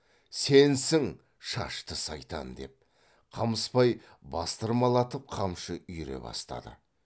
сенсің шашты сайтан деп қамысбай бастырмалатып қамшы үйіре бастады